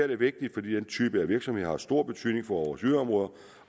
er vigtigt fordi den type virksomheder har stor betydning for vores yderområder